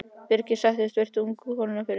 Birkir settist og virti ungu konuna fyrir sér.